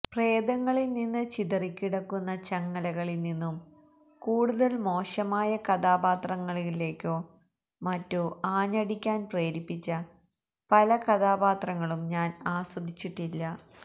പ്രേതങ്ങളിൽ നിന്ന് ചിതറിക്കിടക്കുന്ന ചങ്ങലകളിൽ നിന്നും കൂടുതൽ മോശമായ കഥാപാത്രങ്ങളിലേക്കോ മറ്റോ ആഞ്ഞടിക്കാൻ പ്രേരിപ്പിച്ച പല കഥാപാത്രങ്ങളും ഞാൻ ആസ്വദിച്ചിട്ടില്ല